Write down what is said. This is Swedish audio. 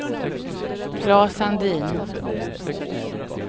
Claes Sandin